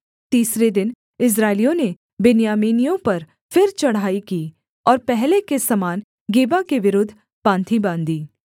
तीसरे दिन इस्राएलियों ने बिन्यामीनियों पर फिर चढ़ाई की और पहले के समान गिबा के विरुद्ध पाँति बाँधी